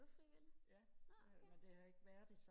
er du frivillig nå okay